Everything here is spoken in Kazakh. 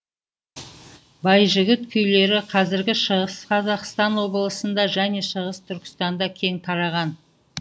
байжігіт күйлері қазіргі шығыс қазақстан облысында және шығыс түркістанда кең тараған